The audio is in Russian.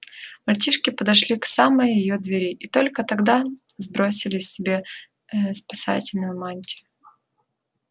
мальчишки подошли к самой её двери и только тогда сбросили с себя ээ спасительную мантию